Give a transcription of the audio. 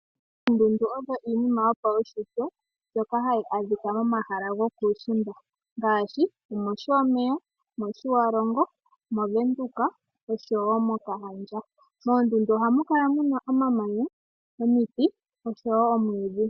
Oondundu odho iinima yopawushitwe ndjoka hayi adhika momahala gokuushimba ngaashi omOshomeya, mOshiwalongo, mOvenduka oshowo mokahandja. Moondunda oha mu kala muna omamanya, omiti oshowo omwiidhi.